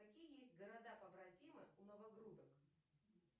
какие есть города побратимы у новогрудок